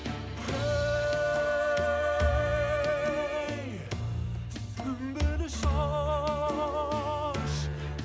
е ей сүмбіл шаш